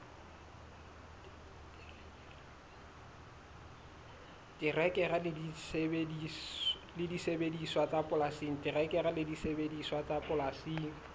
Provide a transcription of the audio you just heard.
terekere le disebediswa tsa polasing